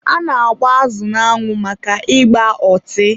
a na-agba azụ n'anwụ maka ị gba ọtị.